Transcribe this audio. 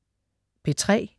P3: